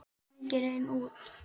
Það rigndi enn úti.